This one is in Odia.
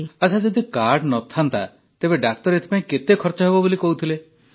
ଆଚ୍ଛା ଯଦି କାର୍ଡ ନଥାନ୍ତା ତେବେ ଡାକ୍ତର ଏଥିପାଇଁ କେତେ ଖର୍ଚ ହେବ ବୋଲି କହୁଥିଲେ